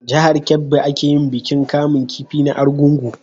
Jahar kebbi a ke yin bikin kamun kifi na argungu